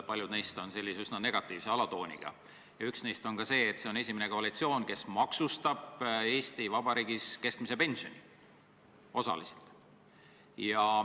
Paljud neist on küll üsna negatiivse alatooniga ja üks neist on ka see, et see on esimene koalitsioon, kes maksustab Eesti Vabariigis keskmise pensioni, küll osaliselt.